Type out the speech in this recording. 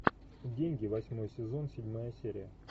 деньги восьмой сезон седьмая серия